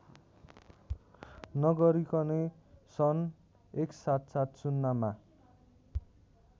नगरिकनै सन् १७७० मा